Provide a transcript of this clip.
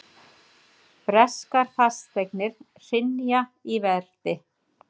Breskar fasteignir hrynja í verði